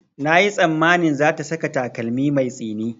Na yi tsammanin za ta saka takalmi mai tsini